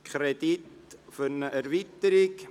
Es geht um einen Kredit für eine Erweiterung.